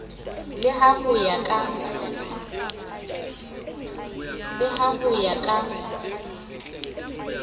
le ha ho ya ka